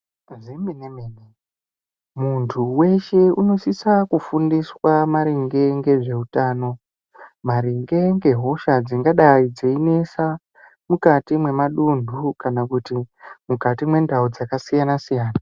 Zvemenemene muntu weshe unosisa kufundiswa maringe ngezveutano maringe ngehosha dzingadai dzeinesa mukati mwemaduntu kana kuti mukati mwendau dzakasiyana siyana.